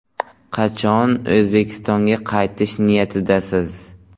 Qachon O‘zbekistonga qaytish niyatidasiz?